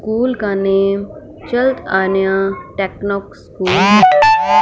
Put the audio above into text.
School का name चर्ट आन्या टेक्नो स्कूल है।